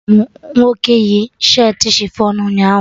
Ahụrụ m nwoke yi shirtị chifọn ụnyaahụ